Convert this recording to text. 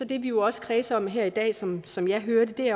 det vi jo også kredser om her i dag som som jeg hører det